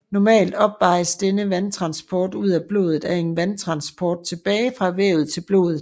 Normalt opvejes denne vandtransport ud af blodet af en vandtransport tilbage fra vævet til blodet